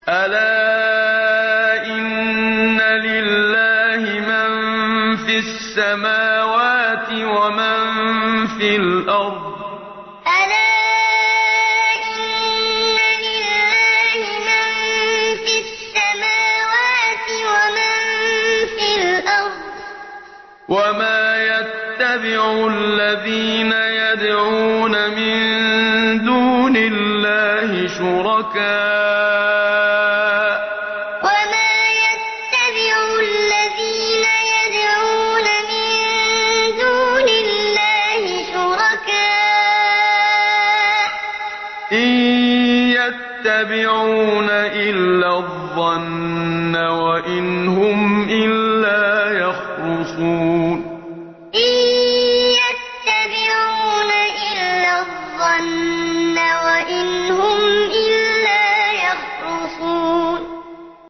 أَلَا إِنَّ لِلَّهِ مَن فِي السَّمَاوَاتِ وَمَن فِي الْأَرْضِ ۗ وَمَا يَتَّبِعُ الَّذِينَ يَدْعُونَ مِن دُونِ اللَّهِ شُرَكَاءَ ۚ إِن يَتَّبِعُونَ إِلَّا الظَّنَّ وَإِنْ هُمْ إِلَّا يَخْرُصُونَ أَلَا إِنَّ لِلَّهِ مَن فِي السَّمَاوَاتِ وَمَن فِي الْأَرْضِ ۗ وَمَا يَتَّبِعُ الَّذِينَ يَدْعُونَ مِن دُونِ اللَّهِ شُرَكَاءَ ۚ إِن يَتَّبِعُونَ إِلَّا الظَّنَّ وَإِنْ هُمْ إِلَّا يَخْرُصُونَ